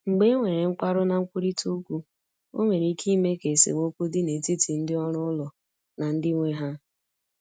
Mgbe e nwere nkwarụ na nkwurịta okwu, ọ nwere ike ime ka esemokwu dị n’etiti ndị ọrụ ụlọ na ndị nwe ha.